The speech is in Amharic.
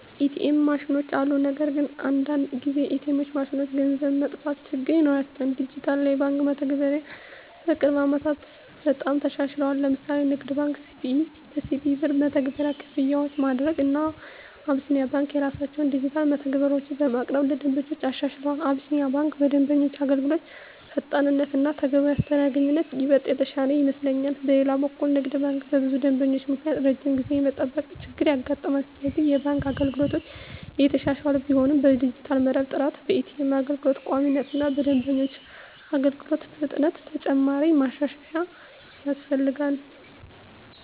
ኤ.ቲ.ኤም ማሽኖች አሉ። ነገር ግን አንዳንድ ጊዜ ኤ.ቲ.ኤም ማሽኖች ገንዘብ መጥፋት ችግር ይኖራቸዋል። ዲጂታል የባንክ መተግበሪያዎች በቅርብ ዓመታት በጣም ተሻሽለዋል። ለምሳሌ ንግድ ባንክ(CBE) በCBE Birr መተግበሪያ ክፍያዎችን ማድረግ፣ እና አቢሲኒያ ባንክ የራሳቸውን ዲጂታል መተግበሪያዎች በማቅረብ ለደንበኞች አሻሽለዋል። አቢሲኒያ ባንክ በደንበኞች አገልግሎት ፈጣንነት እና ተገቢ አስተናጋጅነት ይበልጥ የተሻለ ይመስለኛል። በሌላ በኩል ንግድ ባንክ በብዙ ደንበኞች ምክንያት ረጅም ጊዜ የመጠበቅ ችገር ያጋጥማል፤ ስለዚህ የባንክ አገልግሎቶች እየተሻሻሉ ቢሆንም በዲጂታል መረብ ጥራት፣ በኤ.ቲ.ኤም አገልግሎት ቋሚነት እና በደንበኞች አገልግሎት ፍጥነት ተጨማሪ ማሻሻያ ያስፈልጋል።